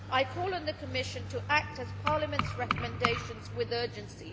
I call on the Commission to act on Parliament's recommendations with urgency.